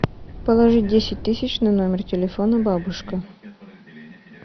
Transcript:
положить десять тысяч на номер телефона бабушка